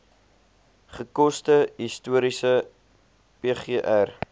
gekose historiese pgr